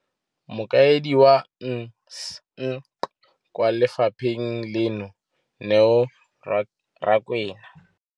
Mokaedi wa NSNP kwa lefapheng leno, Neo Rakwena,